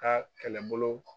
A kɛlɛ bolo